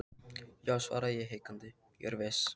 Já, svaraði ég hikandi, ég er viss.